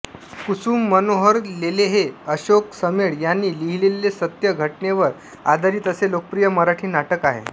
कुसुम मनोहर लेलेहे अशोक समेळ यांनी लिहिलेले सत्य घटनेवर आधारित असे लोकप्रिय मराठी नाटक आहे